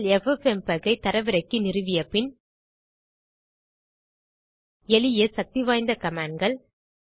நீங்கள் ffmpegஐ தரவிறக்கி நிறுவிய பின் எளிய சக்தி வாய்ந்த கமாண்ட் கள்